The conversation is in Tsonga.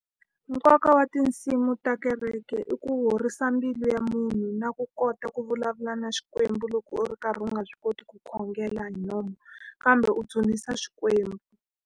Nkoka wa tinsimu ta kereke i ku horisa mbilu ya munhu na ku kota ku vulavula na Xikwembu loko u ri karhi u nga swi koti ku khongela hi nomu Kambe u dzunisa Xikwembu.